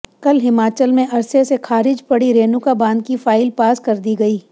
कल हिमाचल में अरसे से खारिज पड़ी रेणुका बांध की फाइल पास कर दी गई